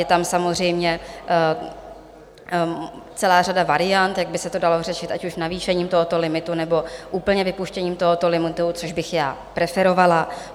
Je tam samozřejmě celá řada variant, jak by se to dalo řešit, ať už navýšením tohoto limitu, nebo úplně vypuštěním tohoto limitu, což bych já preferovala.